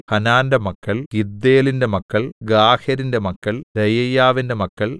ഹാനാന്റെ മക്കൾ ഗിദ്ദേലിന്റെ മക്കൾ ഗാഹരിന്റെ മക്കൾ രെയായ്യാവിന്റെ മക്കൾ